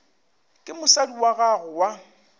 ke mosadi wa gago wa